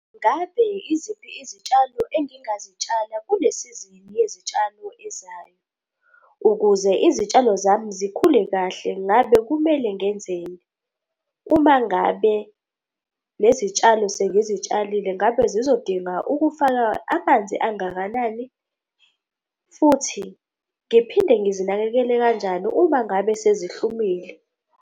Ngabe iziphi izitshalo engingazitshala kule sizini yezitshalo ezayo? Ukuze izitshalo zami zikhule kahle, ngabe kumele ngenzeni? Uma ngabe lezi zitshalo sengizitshalile, ngabe zizodinga ukufaka amanzi angakanani? Futhi ngiphinde ngizinakekele kanjani uma ngabe sezihlumile?